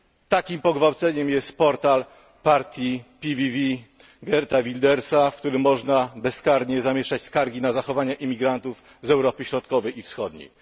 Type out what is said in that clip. Takim pogwałceniem jest portal partii PVV Geerta Wildersa, w którym można bezkarnie zamieszczać skargi na zachowania imigrantów z Europy Środkowej i Wschodniej.